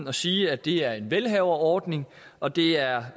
at sige at det er en velhaverordning og det er